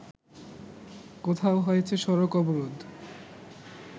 কোথাও হয়েছে সড়ক অবরোধ